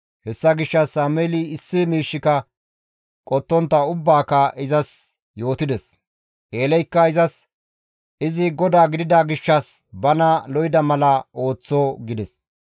Hessa gishshas Sameeli issi miishshika qottontta ubbaaka izas yootides; Eeleykka izas, «Izi GODAA gidida gishshas bana lo7ida mala ooththo» gides.